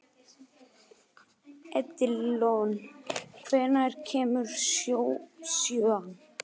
Edilon, hvenær kemur sjöan?